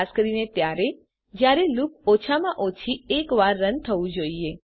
ખાસ કરીને ત્યારે જયારે લૂપ ઓછામાં ઓછી એક વાર રન થવું જોઈએ